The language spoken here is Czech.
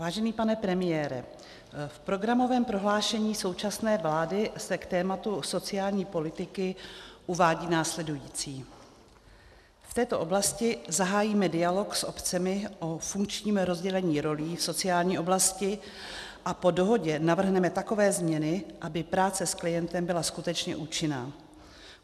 Vážený pane premiére, v programovém prohlášení současné vlády se k tématu sociální politiky uvádí následující: V této oblasti zahájíme dialog s obcemi o funkčním rozdělení rolí v sociální oblasti a po dohodě navrhneme takové změny, aby práce s klientem byla skutečně účinná.